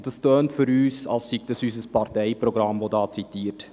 Für uns klingt es, als würde unser Parteiprogramm zitiert.